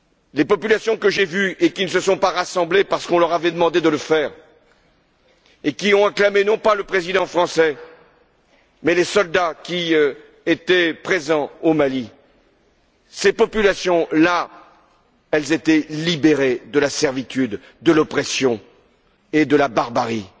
Les populations que j'ai vues et qui ne se sont pas rassemblées parce qu'on leur avait demandé de le faire, qui ont acclamé non pas le président français, mais les soldats qui étaient présents au Mali, ces populations là, elles étaient libérées de la servitude, de l'oppression et de la barbarie.